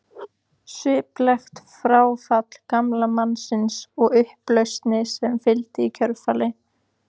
Sviplegt fráfall gamla mannsins og upplausnin sem fylgdi í kjölfarið.